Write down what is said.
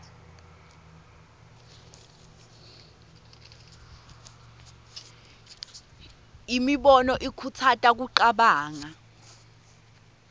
imibono ikhutsata kucabanga